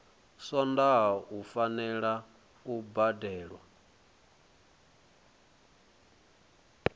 swondaha u fanela u badelwa